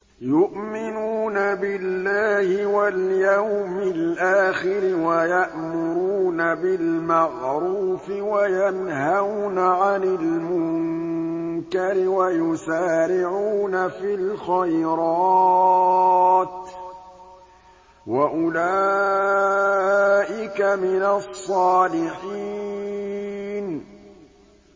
يُؤْمِنُونَ بِاللَّهِ وَالْيَوْمِ الْآخِرِ وَيَأْمُرُونَ بِالْمَعْرُوفِ وَيَنْهَوْنَ عَنِ الْمُنكَرِ وَيُسَارِعُونَ فِي الْخَيْرَاتِ وَأُولَٰئِكَ مِنَ الصَّالِحِينَ